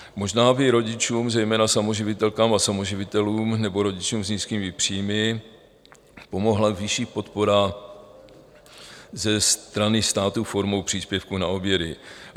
Možná by rodičům, zejména samoživitelkám a samoživitelům nebo rodičům s nízkými příjmy, pomohla vyšší podpora ze strany státu formou příspěvku na obědy.